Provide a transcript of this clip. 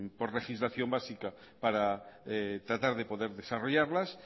por legislación básica para tratar de poder desarrollarlas